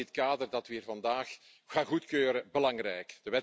Daarom is dit kader dat we hier vandaag gaan goedkeuren belangrijk.